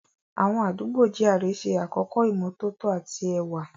Àwọn àdúgbò GRA ṣe àkọ́kọ́ ìmọ́tótó àti ẹwà.